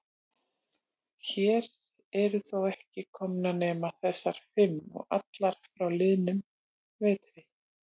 Hér eru þó ekki komnar nema þessar fimm. og allar frá liðnum vetri.